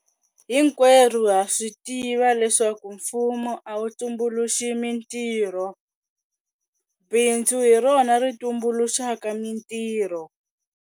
Hinkwerhu ha swi tiva leswaku mfumo a wu tumbuluxi mitirho. Bindzu hi rona ri tumbuluxaka mitirho.